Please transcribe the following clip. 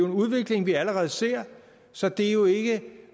en udvikling vi allerede ser så det er jo ikke